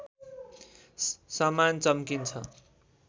समान चम्किन्छ